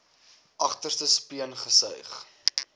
agterste speen gesuig